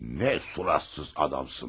Nə suratsız adamsın bə.